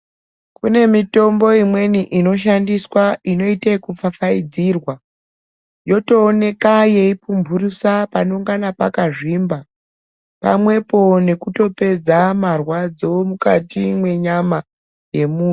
Kune mitombo imweni inoshandiswa inoita kupfapfaidzirwa yotooneka yeipumburusa panonga pakazvimba pamwepo nekutopedza marwadzo mukati menyama yemuntu.